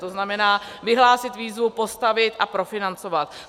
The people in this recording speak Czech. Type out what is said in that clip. To znamená, vyhlásit výzvu, postavit a profinancovat.